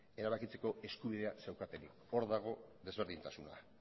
erabakitzeko eskubidea zeukatenik hor dago desberdintasuna